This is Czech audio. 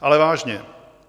Ale vážně.